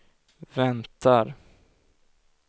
väntar